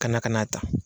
Ka na ka n'a ta